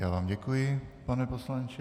Já vám děkuji, pane poslanče.